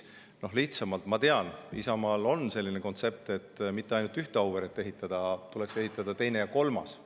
Noh, ma tean, et Isamaal on selline kontsept, et mitte ainult ühte Auvere, vaid tuleks ehitada teine ja kolmas.